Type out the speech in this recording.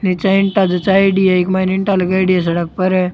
निचे ईटा जच्चाएंडी है इक माह ईटा लगायेडी है सड़क पर।